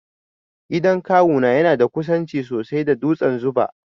Gidan kawu na yana da kusanci sosai da dutsen 'Zuba'.